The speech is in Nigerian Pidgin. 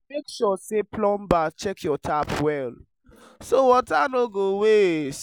make sure say plumber check your tap well so water no go waste.